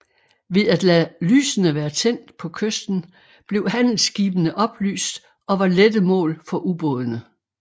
Ved at lade lysene være tændt på kysten blev handelsskibene oplyst og var lette mål for ubådene